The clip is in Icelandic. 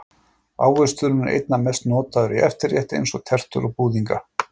Ávöxturinn er einna mest notaður í eftirrétti eins og tertur og búðinga.